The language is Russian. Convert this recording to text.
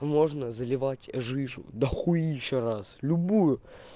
можно заливать жижу до хуища раз любую